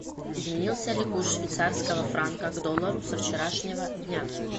изменился ли курс швейцарского франка к доллару со вчерашнего дня